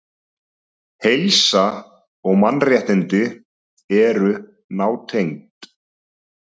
Heilsa og mannréttindi eru nátengd.